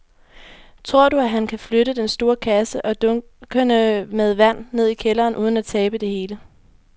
Tror du, at han kan flytte den store kasse og dunkene med vand ned i kælderen uden at tabe det hele?